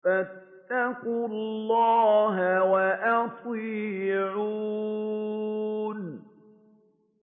فَاتَّقُوا اللَّهَ وَأَطِيعُونِ